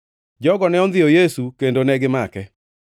Jogo ne ondhiyo Yesu kendo negimake.